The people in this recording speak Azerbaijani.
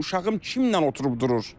Uşağım kimlə oturub durur?